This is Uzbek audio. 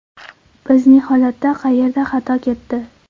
Bizning holatda qayerda xato ketdi?